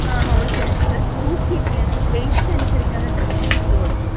ങ്ങാ. ഹോൾസെയിലായിട്ടാണ്. പക്ഷേ തൂക്കിയൊക്കെയാണ് വെയിറ്റ് അനുസരിച്ചാണ് ഡ്രസിന് ഇത് കൊടുക്കുന്നത്.